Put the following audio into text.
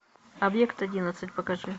объект одиннадцать покажи